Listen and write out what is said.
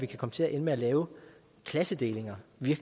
kan komme til at ende med at lave klassedelinger